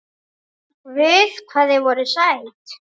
Guð hvað þið voruð sæt!